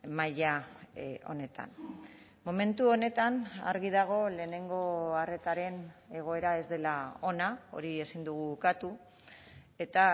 maila honetan momentu honetan argi dago lehenengo arretaren egoera ez dela ona hori ezin dugu ukatu eta